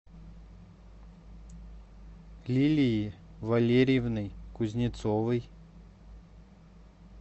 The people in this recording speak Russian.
лилией валерьевной кузнецовой